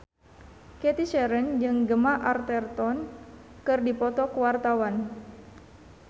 Cathy Sharon jeung Gemma Arterton keur dipoto ku wartawan